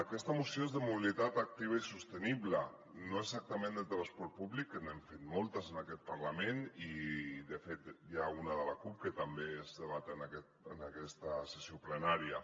aquesta moció és de mobilitat activa i sostenible no exactament de transport públic que n’hem fet moltes en aquest parlament i de fet n’hi ha una de la cup que també es debat en aquesta sessió plenària